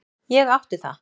Ég átti það.